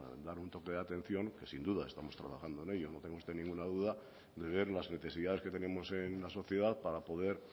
a dar un toque de atención que sin duda estamos trabajando en ello no tenga usted ninguna duda de ver las necesidades que tenemos en la sociedad para poder